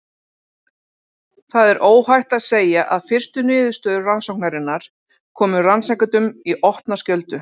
Það er óhætt að segja að fyrstu niðurstöður rannsóknarinnar komu rannsakendum í opna skjöldu.